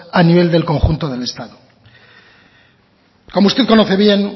a nivel del conjunto del estado como usted conoce bien